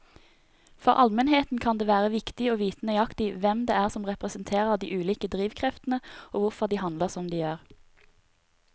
For allmennheten kan det være viktig å vite nøyaktig hvem det er som representerer de ulike drivkreftene og hvorfor de handler som de gjør.